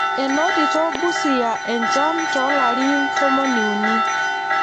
Enotito Busia enchan too larin tomoniuni.